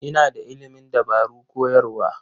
Ina da ilimin dabarun koyarwa.